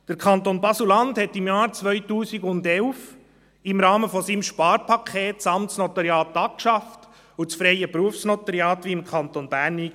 Der Kanton Basel-Land schaffte das Amtsnotariat im Jahr 2011 im Rahmen seines Sparpakets ab und führte das freie Berufsnotariat, wie im Kanton Bern, ein.